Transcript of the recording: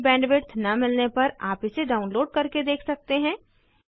अच्छी बैंडविड्थ न मिलने पर आप इसे डाउनलोड करके देख सकते हैं